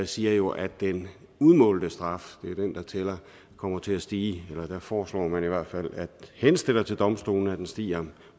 siger jo at den udmålte straf er den der tæller kommer til at stige eller der foreslår man i hvert fald henstiller til domstolene at den stiger